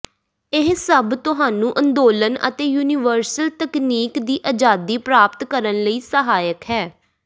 ਇਹ ਸਭ ਤੁਹਾਨੂੰ ਅੰਦੋਲਨ ਅਤੇ ਯੂਨੀਵਰਸਲ ਤਕਨੀਕ ਦੀ ਆਜ਼ਾਦੀ ਪ੍ਰਾਪਤ ਕਰਨ ਲਈ ਸਹਾਇਕ ਹੈ